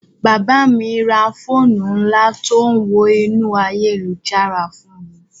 Bàbá mi ra fóònù ńlá tó ń wọ inú ayélujára fún mi